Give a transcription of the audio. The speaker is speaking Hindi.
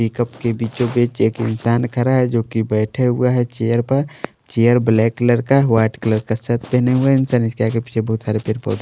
पिकप के बीचोंबीच एक इंसान खड़ा है जो कि बैठा हुआ है चेयर पर चेयर ब्लैक कलर का वाइट कलर का शर्ट पहने हुआ है इंसानियत के आगे पीछे बोहोत सारे पर पोधे --